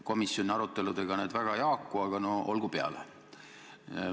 Komisjoni aruteludega need väga ei haaku, aga no olgu peale.